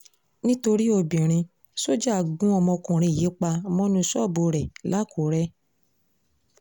nítorí obìnrin sójà gun ọmọkùnrin yìí pa mọ́nú ṣọ́ọ̀bù rẹ̀ lákùrẹ́